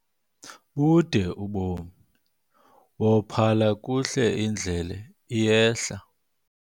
Bude ubomi, wophala kuhle indlela iyehla.